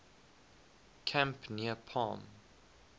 camp near palm